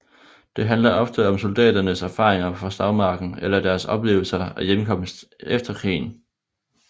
Det handler ofte om soldaternes erfaringer fra slagmarken eller deres oplevelser af hjemkomsten efter krigen